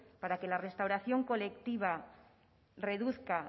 para que la restauración colectiva reduzca